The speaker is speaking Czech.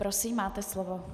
Prosím, máte slovo.